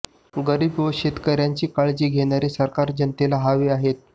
गरीब व शेतकऱयांची काळजी घेणारे सरकार जनतेला हवे आहे